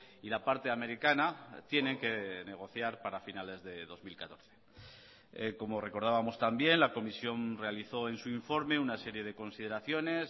y la parte americana tienen que negociar para finales de dos mil catorce como recordábamos también la comisión realizó en su informe una serie de consideraciones